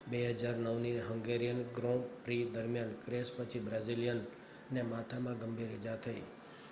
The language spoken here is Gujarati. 2009ની હંગેરિયન ગ્રૉં પ્રી દરમિયાન ક્રૅશ પછી બ્રાઝિલિયનને માથામાં ગંભીર ઈજા થઈ